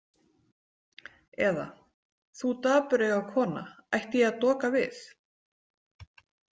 Eða, þú dapureyga kona, ætti ég að doka við?